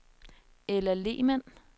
Ella Lehmann